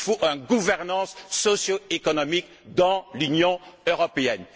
Il faut une gouvernance socioéconomique de l'Union européenne.